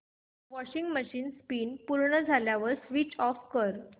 washing machine spin पूर्ण झाल्यावर switch off कर